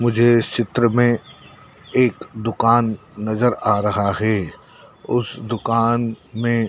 मुझे इस चित्र में एक दुकान नजर आ रहा है उस दुकान में--